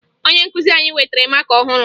Onye nkụzi anyị wetara maka ọhụrụ